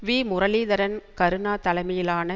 we Muralitharan Karuna தலைமையிலான